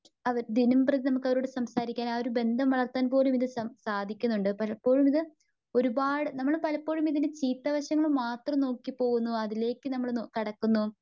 ദിനം പ്രതി നമുക്ക് അവരോട് സംസാരിക്കുവാൻ. ആ ഒരു ബന്ധം വളർത്തുവാൻ പോലും സാധിക്കുണ്ട്. പലപ്പോഴും ഇത് ഒരുപാട് നമ്മള് പലപ്പോഴും ഇതിന്റെ ചീത്തവശങ്ങൾ മാത്രം നോക്കിപോകുന്നു അതിലേക്കു നമ്മൾ കടക്കുന്നു.